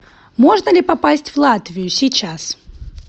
можно ли попасть в латвию сейчас